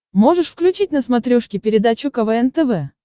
можешь включить на смотрешке передачу квн тв